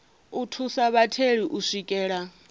u thusa vhatheli u swikelela